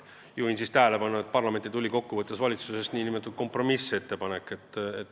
Juhin tähelepanu sellele, et parlamenti tuli valitsusest kompromissettepanek.